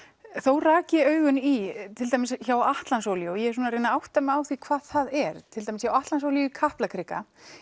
nú rak ég augun í til dæmis hjá Atlantsolíu og ég er að reyna að átta mig á því hvað það er til dæmis hjá Atlantsolíu í Kaplakrika